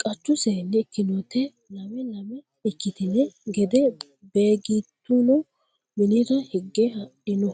Qachu seenni ikkinonte lame lame ikkitine gede Beeggituno minira higa heddino